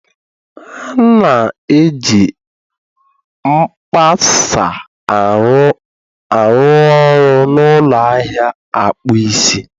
A na-eji mkpasa a ruoru n'ụlọ ahịa akpụ isi